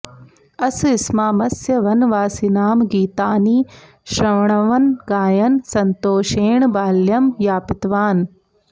अस्स्मामस्य वनवासिनां गीतानि शृण्वन् गायन् सन्तोषेण बाल्यं यापितवान्